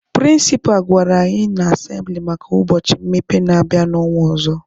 Prịnsịpa gwara anyị n'asembịli maka ụbọchị mmepe na-abịa n'ọnwa ọzọ.